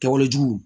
Kɛwalejugu